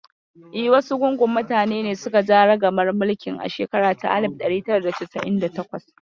Yes, oligarchy was in nineteen forty eight.